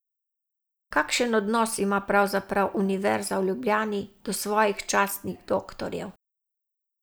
Kakšen odnos ima pravzaprav Univerza v Ljubljani do svojih častnih doktorjev?